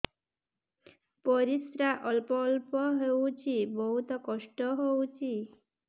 ପରିଶ୍ରା ଅଳ୍ପ ଅଳ୍ପ ହଉଚି ବହୁତ କଷ୍ଟ ହଉଚି